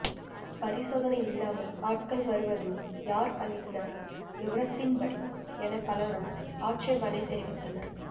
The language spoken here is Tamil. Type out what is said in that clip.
பரிசோதனை இல்லாமல் ஆட்கள் வருவது யார் அளித்த விவரத்தின்படி என பலரும் ஆட்சேபணை தெரிவித்தனர்